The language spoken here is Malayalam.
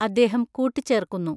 അദ്ദേഹം കൂട്ടിച്ചേർക്കുന്നു.